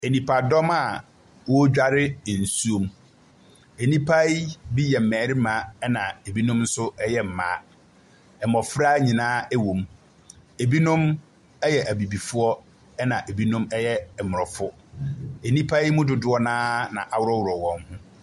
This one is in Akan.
Nipadɔm a ɔredware nsuo mu. Nipa yi bi yɛ mmarima na ebinom nso ɛyɛ mmaa. Mmɔfra nyinaa ɛwɔ mu. ebinom ɛyɛ abibifoɔ ɛna ebinom ɛyɛ mmrɔfo. Enipa dodoɔ naa na aworɔworɔ wɔn ho.